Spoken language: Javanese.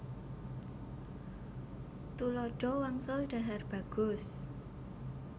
Tuladha wangsul dhahar bagus